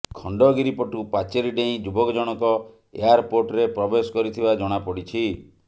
ଖଣ୍ଡଗିରି ପଟୁ ପାଚେରୀ ଡେଇଁ ଯୁବକଜଣକ ଏୟାରପୋର୍ଟରେ ପ୍ରବେଶ କରିଥିବା ଜଣାପଡିଛି